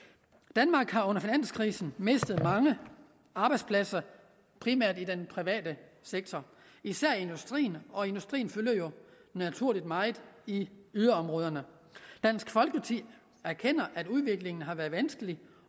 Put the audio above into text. danmark har under finanskrisen mistet mange arbejdspladser primært i den private sektor især i industrien og industrien fylder jo naturligt meget i yderområderne dansk folkeparti erkender at udviklingen har været vanskelig